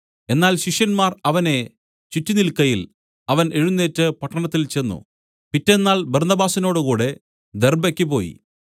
എന്നാൽ ശിഷ്യന്മാർ അവനെ ചുറ്റിനിൽക്കയിൽ അവൻ എഴുന്നേറ്റ് പട്ടണത്തിൽ ചെന്ന് പിറ്റെന്നാൾ ബർന്നബാസിനോടുകൂടെ ദെർബ്ബയ്ക്ക് പോയി